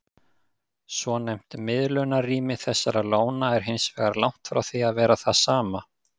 Svonefnt miðlunarrými þessara lóna er hins vegar langt frá því að vera það sama.